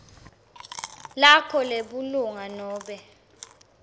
lakho lebulunga nobe